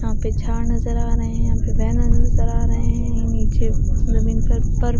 यहां पे झाड़ नजर आ रहा है यहां पे बैनर नजर आ रहे हैं नीचे स्विमिंग पर पर--